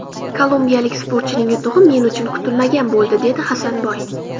Kolumbiyalik sportchining yutug‘i men uchun kutilmagan bo‘ldi”, dedi Hasanboy.